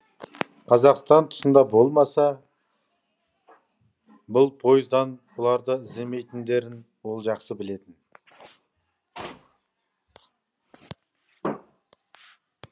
қазақстан тұсында болмаса бұл поездан бұларды іздемейтіндерін ол жақсы білетін